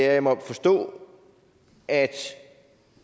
at jeg må forstå at